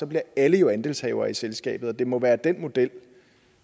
bliver alle jo andelshavere i selskabet og det må være den model